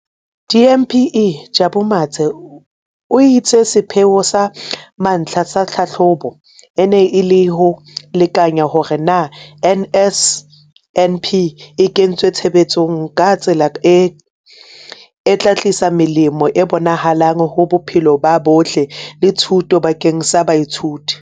DPME, Jabu Mathe, o itse sepheo sa mantlha sa tlhahlobo e ne e le ho lekanya hore na NSNP e kentswe tshebetsong ka tsela e tla tlisa melemo e bonahalang ho bophelo bo botle le thuto bakeng sa baithuti.